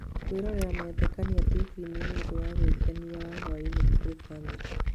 Kũrora mathekania tibii-inĩ nĩ ũndũ wa gwĩkenia wa hwaiinĩ kũrĩ bamĩrĩ.